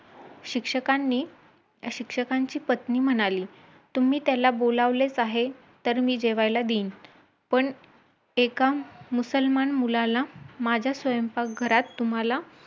म्हटलं आपण भरती तर दोन महिन्यावर उभी आहे ,शंभर टक्के तर ताकद टाकायलाच पाहिजे.बऱ्याजदा धावता धावताच असं ही झालं कि अरे बस झालं मारशील किती धावशील.